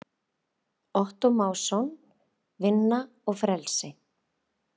Ottó Másson, Vinna og frelsi.